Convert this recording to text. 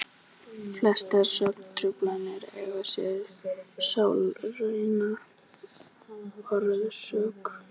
Flestar svefntruflanir eiga sér sálræna orsök.